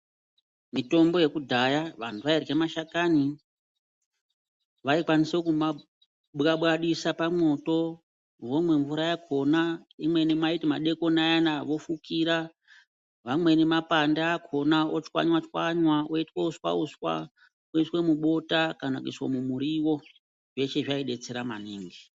Mitombo yakudhaya vantu vairye mashakani, vaikwanisa kumabwabwadisa pamwoto vomwe mvura yakona, imweni vaiti madekona anana vofukira, vamweni mapande akona vaimatswanywa-tswanywa, iitwe uswa-uswa voiswe mubota kana kuiswe mumurivo zveshe zvabetsera maningi.